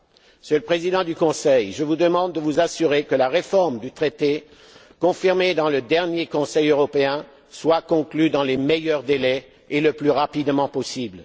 Monsieur le Président du Conseil, je vous demande de vous assurer que la réforme du traité, confirmée dans le dernier Conseil européen, soit conclue dans les meilleurs délais et le plus rapidement possible.